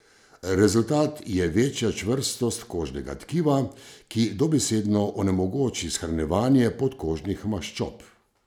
Rezultat je večja čvrstost kožnega tkiva, ki dobesedno onemogoči shranjevanje podkožnih maščob.